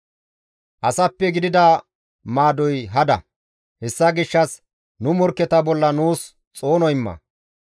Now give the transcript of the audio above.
Asappe gidida maadoy hada; hessa gishshas nu morkketa bolla nuus xoono imma.